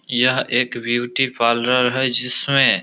यह एक beauty parlour है जिसमें --